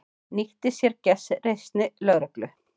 Nýtti sér gestrisni lögreglu